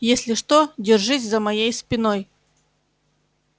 если что держись за моей спиной